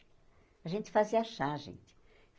A gente fazia chá, gente.